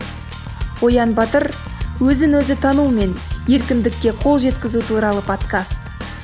оян батыр өзін өзі тану мен еркіндікке қол жеткізу туралы подкаст